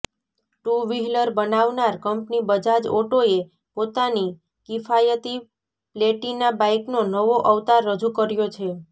to wheeler બનાવનાર company Bajaj ઓટોએ પોતાની કિફાયતી પ્લેટિના બાઇકનો નવો અવતાર રજૂ કર્યો છે